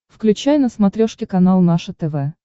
включай на смотрешке канал наше тв